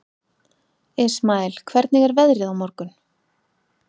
Ismael, hvernig er veðrið á morgun?